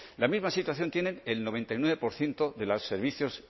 la misma situación tienen el noventa y nueve por ciento de los servicios